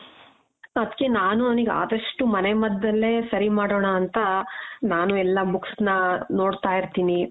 ಅದ್ಕೆ ನಾನು ಅವ್ನಿಗೆ ಅದಷ್ಟೂ ಮನೆ ಮದ್ದಲ್ಲೆ ಸರಿ ಮಾಡೋಣ ಅಂತ ನಾನು ಎಲ್ಲಾ books ನ ನೋಡ್ತಾ ಇರ್ತೀನಿ .